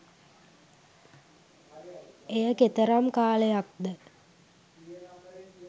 එය කෙතරම් කාලයක්ද